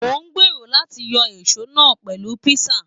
Mo n gbéró láti yọ èsó náà pẹlu pinsa.